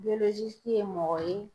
ye mɔgɔ ye